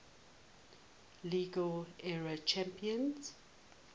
league era champions